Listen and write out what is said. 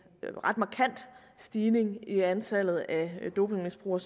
ret markant stigning i antallet af dopingmisbrugere